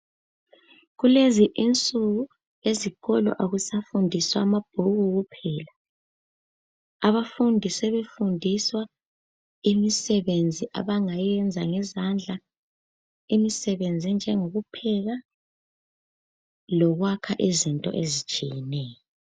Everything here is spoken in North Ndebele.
Kulezi insuku ezikolo akusafundiswa amabhuku kuphela abafundi besefundiswa imisebenzi abangayenza ngezandla imisebenzi enjengokupheka lokhwakha izinto ezitshiyeneyo.